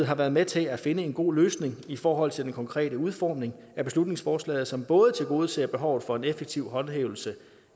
har været med til at finde en god løsning i forhold til den konkrete udformning af beslutningsforslaget som både tilgodeser behovet for en effektiv håndhævelse